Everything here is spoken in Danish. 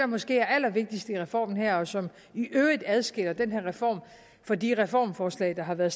måske er allervigtigst i reformen her og som i øvrigt adskiller den her reform fra de reformforslag der har været